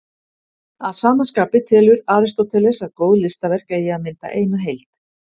Að sama skapi telur Aristóteles að góð listaverk eigi að mynda eina heild.